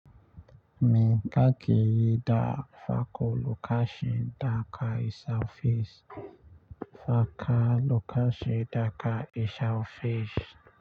Me kake yi da farko lokacin da ka isa ofis. Farkon lokacin da ka isa ofis.